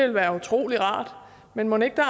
være utrolig rart men mon ikke der